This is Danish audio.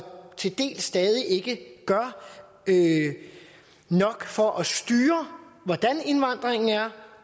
til dels stadig ikke gør nok for at styre hvordan indvandringen er